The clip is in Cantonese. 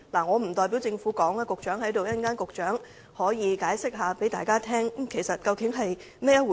我不代表政府發言，局長今天在席，稍後他可以向大家解釋，究竟是甚麼回事。